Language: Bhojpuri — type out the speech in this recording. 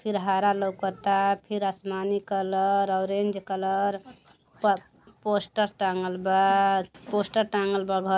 फिर हरा लउकता फिर आसमानी कलर ऑरेंज कलर पर पोस्टर टाँगल पोस्टर टाँगल बा। घर --